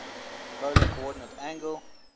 polar coordinate angle